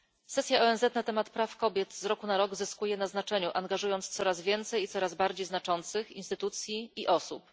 Sesja ONZ na temat praw kobiet z roku na rok zyskuje na znaczeniu, angażując coraz więcej i coraz bardziej znaczących instytucji i osób.